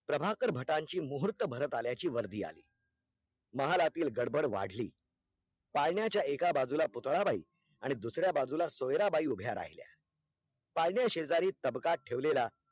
प्रभाकर भटांची मुहुर्त भरत आल्याची वर्दी आली महालातिल गड़बड़ वाढली पाळण्याच्या एका बजुला पुतळाबाई आणि दुसऱ्या बाजूला सोयराबाई उभ्या राहिल्या पाळण्या शेजारी तबकात ठेवलेला